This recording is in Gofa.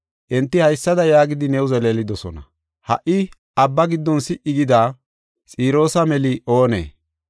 Enti haysada yaagidi new zeleelidosona: “Ha77i abba giddon si77i gida, Xiroosa meli oonee?”